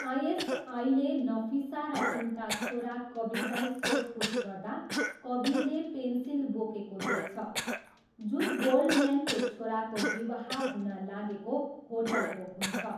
आइएसआईले नफिसा र उनका छोरा कबिरलाई सोधपुछ गर्दा, कबिरले पेन्सिल बोकेको देख्छ जुन गोल्डम्यानको छोराको विवाह हुन लागेको होटलको हुन्छ।